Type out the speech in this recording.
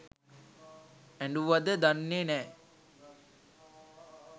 ඇඬුවද දන්නේ නෑ